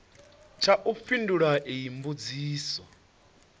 tsha u fhindula iyi mbudziso